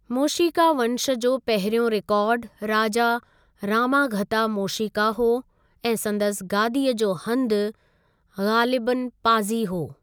मोशीका वंश जो पहिरियों रिकार्ड राजा रामाघता मोशीका हो ऐं संदसि गादीअ जो हंधि ग़ालिबन पाज़ी हो।